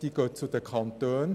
Sie gehen zu den Kantonen.